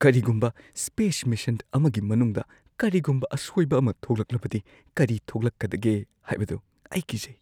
ꯀꯔꯤꯒꯨꯝꯕ space mission ꯑꯃꯒꯤ ꯃꯅꯨꯡꯗ ꯀꯔꯤꯒꯨꯝꯕ ꯑꯁꯣꯏꯕ ꯑꯃ ꯊꯣꯛꯂꯛꯂꯕꯗꯤ ꯀꯔꯤ ꯊꯣꯛꯂꯛꯀꯗꯒꯦ ꯍꯥꯏꯕꯗꯨ ꯑꯩ ꯀꯤꯖꯩ꯫